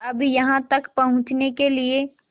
अब यहाँ तक पहुँचने के लिए